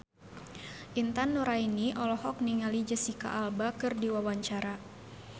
Intan Nuraini olohok ningali Jesicca Alba keur diwawancara